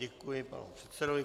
Děkuji panu předsedovi.